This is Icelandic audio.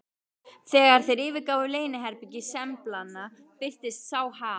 Þegar þeir yfirgáfu leyniherbergi sembalanna, birtist sá Hal